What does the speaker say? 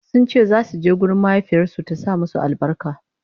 sunce zasu je gurin mahaifiyarsu ta sa musu albarka